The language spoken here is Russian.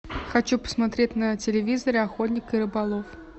хочу посмотреть на телевизоре охотник и рыболов